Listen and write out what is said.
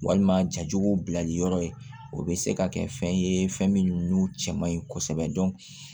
Walima jajugu bilali yɔrɔ ye o be se ka kɛ fɛn ye fɛn min n'o cɛ man ɲi kosɛbɛ